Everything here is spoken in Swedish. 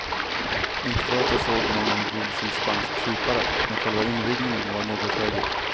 Inte för att jag såg någon vilsen spansk kypare, men själva invigningen var något högljudd.